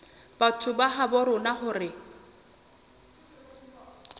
batho ba habo rona hore